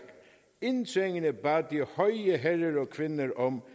indtrængende bad de høje herrer og kvinder om